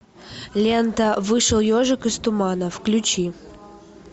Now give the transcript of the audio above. лента вышел ежик из тумана включи